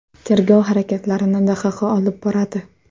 Tergov harakatlarini DXX olib boradi.